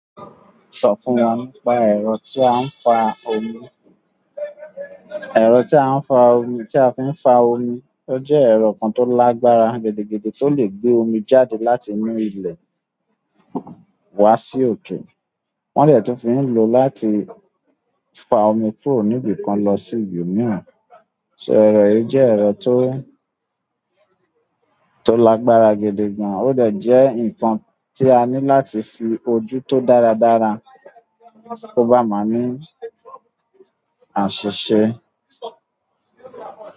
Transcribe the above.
Sọ fún wa nípa ẹ̀rọ tí a ń fa omi, ẹ̀rọ tí a ń fa, tí a fi ń fa omi. O jẹ́ ẹ̀rọ kan tó lágbára gidigidi, tó lè gbé omi jáde láti inú ilẹ̀ wá sí òkè. Wọ́n dẹ̀ ti fi ń lò láti fa omi kúrò níbi kan lọ sí ibi mìíràn. Ẹ̀rọ yìí jẹ́ ẹ̀rọ tó, tó lágbára gidi gan? Ó dẹ̀ jẹ́ ǹkan tí a ní láti fi ojú tó dáradára kó bá máa ní àṣìṣe.